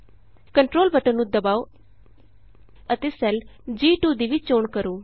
control button ਨੂੰ ਦਬਾਉ ਅਤੇ ਸੈੱਲ ਜੀ2 ਦੀ ਵੀ ਚੋਣ ਕਰੋ